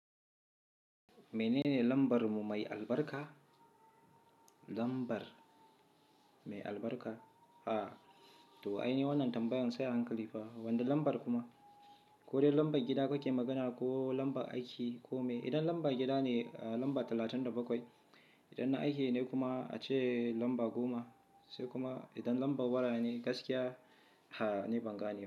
Menene lambar mu mai albarka? Lambar mai albarka? To ai ne wannan tambayan sai a hankali fa. Wanda lambar kuma? Ko dai lambar gida kuke magana ko lambar aiki ko me? Idan lambar gida ne, lamba talatin da bakwai. Idan na aiki ne kuma, ace lamba goma. Sai kuma idan lambar wara ne, gaskiya ha ne bangane.